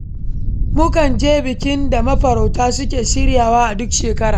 Mukan je bikin da mafarauta suke shirywa a duk shekara.